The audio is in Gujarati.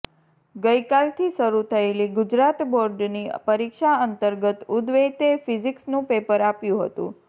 ગઇ કાલથી શરુ થયેલી ગુજરાત બોર્ડની પરિક્ષા અંર્તગત ઉદવૈતે ફીઝીક્સનુ પેપર આપ્યું હતું